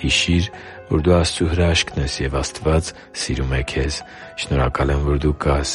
Հիշի՛ր, որ դու Աստծո հրաշքն ես, և Աստված սիրում է քեզ։ Շնորհակալ եմ, որ դու կա՛ս